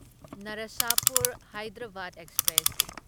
Narsapur Hyderabad express